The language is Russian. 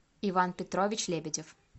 иван петрович лебедев